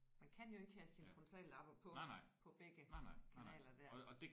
Man kan jo ikke have sine frontallapper på på begge kanaler der